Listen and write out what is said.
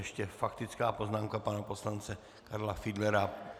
Ještě faktická poznámka pana poslance Karla Fiedlera.